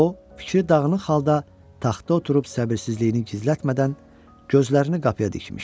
O fikri dağınıq halda taxta oturub səbirsizliyini gizlətmədən gözlərini qapıya dikmişdi.